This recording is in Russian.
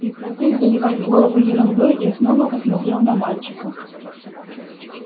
прекратив забивать голову ерундой я снова посмотрел на мальчика